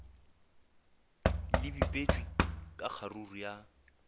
le bipetšwe ka kgaruru ya